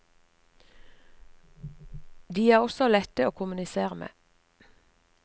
De er også lette å kommunisere med.